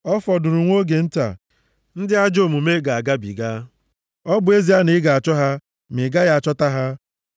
Ọ fọdụrụ nwa oge nta, ndị ajọ omume ga-agabiga; ọ bụ ezie na ị ga-achọ ha, ma ị gaghị achọta ha.